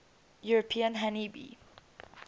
european honey bee